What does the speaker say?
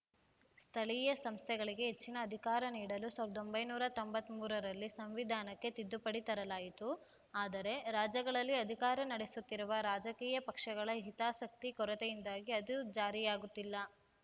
ಸ್ಥಳೀಯ ಸಂಸ್ಥೆಗಳಿಗೆ ಹೆಚ್ಚಿನ ಅಧಿಕಾರ ನೀಡಲು ಸಾವಿರದ ಒಂಬೈನೂರ ತೊಂಬತ್ತ್ ಮೂರರಲ್ಲಿ ಸಂವಿಧಾನಕ್ಕೆ ತಿದ್ದುಪಡಿ ತರಲಾಯಿತು ಆದರೆ ರಾಜ್ಯಗಳಲ್ಲಿ ಅಧಿಕಾರ ನಡೆಸುತ್ತಿರುವ ರಾಜಕೀಯ ಪಕ್ಷಗಳ ಹಿತಾಸಕ್ತಿ ಕೊರತೆಯಿಂದಾಗಿ ಅದು ಜಾರಿಯಾಗುತ್ತಿಲ್ಲ